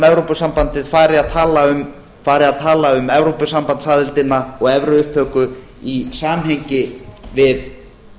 evrópusambandið fari að tala um evrópusambandsaðildina og evruupptöku í samhengi við